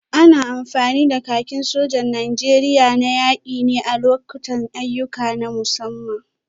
Ana amfani da kakin sojan Najeriya na yaki ne a lokutan ayyuka na musamman.